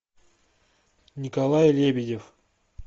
николай лебедев